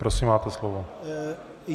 Prosím, máte slovo.